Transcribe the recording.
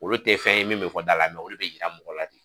Olu tɛ fɛn ye min bɛ fɔ da la olu bɛ yira mɔgɔ la.